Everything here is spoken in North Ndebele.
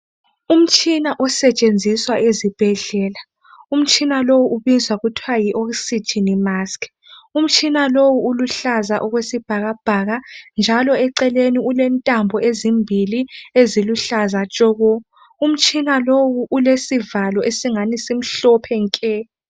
Umitshina osetshenziswa ezibhedlela umtshina lowu ubizwa kuthwa Yi oxygen mask .Umtshina lowu uluhlaza okwesibhakabhaka njalo eceleni ulentambo ezimbili eziluhlaza tshoko. umtshina lowu ulesivalo esingani simhlophe nke.